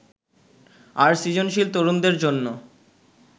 আর সৃজনশীল তরুণদের জন্য